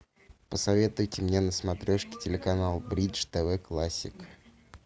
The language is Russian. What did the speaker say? посоветуйте мне на смотрешке телеканал бридж тв классик